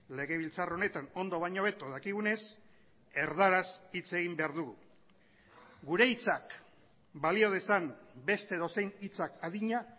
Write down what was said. legebiltzar honetan ondo baino hobeto dakigunez erdaraz hitz egin behar dugu gure hitzak balio dezan beste edozein hitzak adina